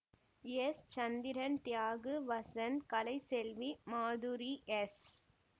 S Chandran Thiyagu Vasanth Kalaiselvi Madhuri S